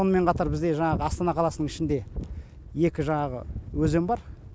сонымен қатар бізде жаңағы астана қаласының ішінде екі жаңағы өзен бар